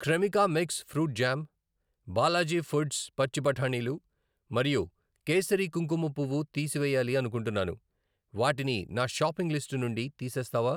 Cremica mix fruit jam, Balaji foods పచ్చి బఠానీలు మరియు కేసరి కుంకుమ పువ్వు తీసివేయాలి అనుకుంటున్నాను, వాటిని నా షాపింగ్ లిస్ట్ నుండి తీసేస్తావా?